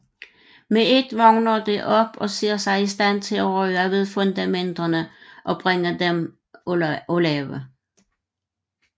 Med ét vågner det op og ser sig i stand til at røre ved fundamenterne og bringe dem af lave